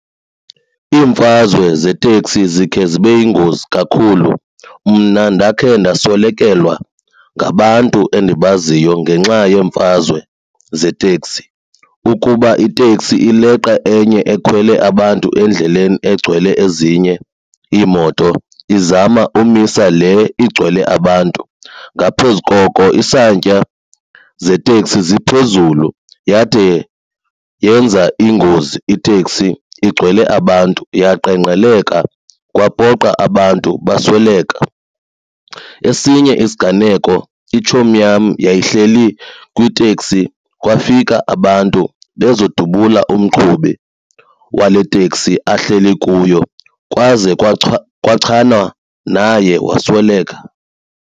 Iimfazwe zeteksi zikhe zibe yingozi kakhulu. Mna ndakhe ndaswelekelwa ngabantu endibaziyo ngenxa yeemfazwe zeteksi ukuba iteksi ileqa enye ekhwele abantu endleleni egcwele ezinye iimoto izama umisa le igcwele abantu. Ngaphezu koko isantya zeteksi ziphezulu yade yenza ingozi iteksi igcwele abantu yaqengqeleka kwapoqa abantu basweleka. Esinye isiganeko itshomi yam yayihleli kwiteksi kwafika abantu bezodubula umqhubi wale teksi ahleli kuyo kwaze kwachanwa naye wasweleka.